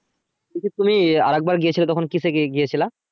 বলছি তুমি আরেকবার গিয়েছিলে তখন কিসে গিয়ে~ গিয়েছিলা?